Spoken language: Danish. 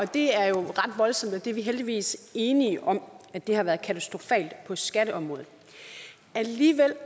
det er jo ret voldsomt og vi er heldigvis enige om at det har været katastrofalt på skatteområdet alligevel